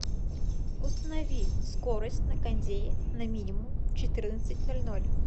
установи скорость на кондее на минимум в четырнадцать ноль ноль